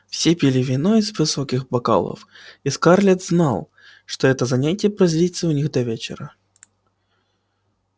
все пили вино из высоких бокалов и скарлетт знал что это занятие продлится у них до вечера